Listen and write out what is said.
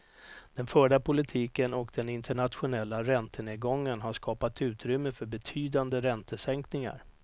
Den förda politiken och den internationella räntenedgången har skapat utrymme för betydande räntesänkningar.